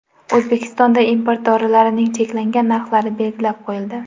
O‘zbekistonda import dorilarning cheklangan narxlari belgilab qo‘yildi.